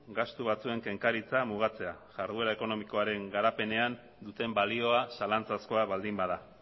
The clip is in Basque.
gastu batzuen kenkaritza mugatzea jarduera ekonomikoaren garapenean duten balioa zalantzazkoa baldin bada